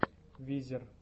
визер